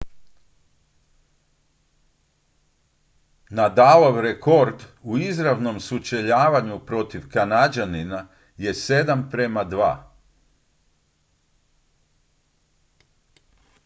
nadalov rekord u izravnom sučeljavanju protiv kanađanina je 7:2